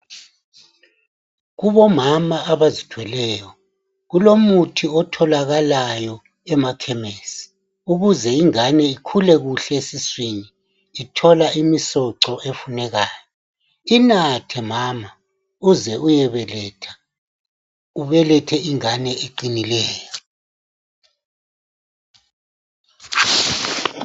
Kubo mama abazithweleyo kulomuthi othalakayo emakhemisi ukuze ingane ikhule kuhle esiswini ithola imisoco efunekayo, inathe mama uze uyobeletha ubelethe ingane eqinileyo.